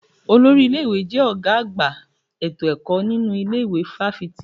Olórí ilé-ìwé jẹ́ ọ̀gá àgbà ètò ẹ̀kọ́ nínu ilé ìwé fáfitì.